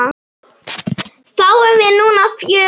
Fáum við núna fjörið?